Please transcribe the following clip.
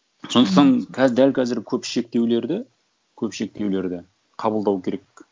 сондықтан қазір дәл қазір көп шектеулерді көп шектеулерді қабылдау керек